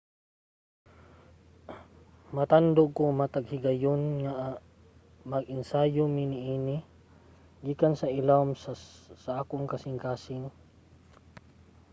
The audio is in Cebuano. "matandog ko matag higayon nga mag-ensayo mi niini gikan sa ilawom sa akong kasingkasing.